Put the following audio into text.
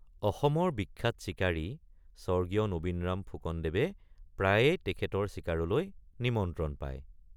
অসমৰ বিখ্যাত চিকাৰী স্বৰ্গীয় নবীনৰাম ফুকনদেৱে প্ৰায়েই তেখেতৰ চিকাৰলৈ নিমন্ত্ৰণ পায়।